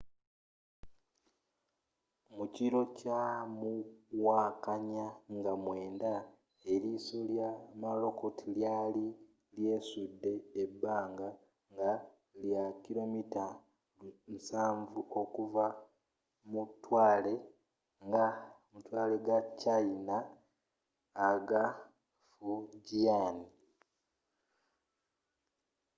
mukiro kya muwakanya nga 9 eriiso lya morakot lyali lyesudde ebbanga nga lya kilomita 70 okuva ku matwale ga china aga fujian